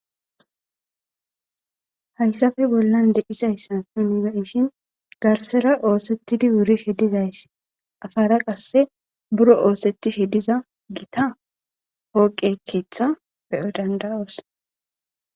Haysape bolan de'zaysan nuni be'ishin garsera osetidi wurishe dizaysa bolara qase biro osetishe diza gita poqe ketha be'os danda'os.